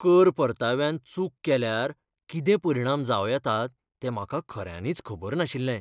कर परताव्यांत चूक केल्यार कितें परिणाम जावं येतात ते म्हाका खऱ्यांनीच खबर नाशिल्ले.